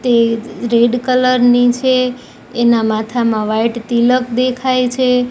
તે red colour ની છે એના માથામાં વાઈટ તિલક દેખાય છે.